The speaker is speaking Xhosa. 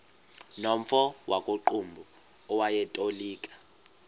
nomfo wakuqumbu owayetolika